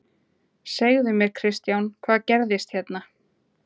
Segðu mér Kristján, hvað gerðist hérna?